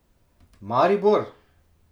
Maribor?